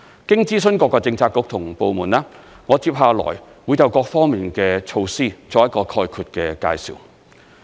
經諮詢各個政策局和部門，我接下來會就各方面的措施作一個概括的介紹。